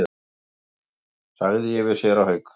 sagði ég við séra Hauk.